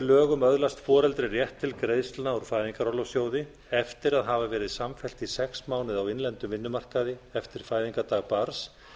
lögum öðlast foreldri rétt til greiðslna úr fæðingarorlofssjóði eftir að hafa verið samfellt í sex mánuði á innlendum vinnumarkaði eftir fæðingardag barns